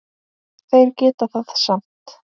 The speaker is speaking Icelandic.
Þeir geta það samt.